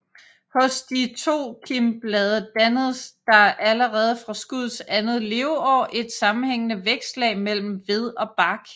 Hos de tokimbladede dannes der allerede fra skuddets andet leveår et sammenhængende vækstlag mellem ved og bark